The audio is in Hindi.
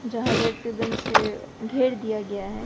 जहां रेड रिबन से घेर दिया गया है।